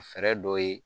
Fɛɛrɛ dɔ ye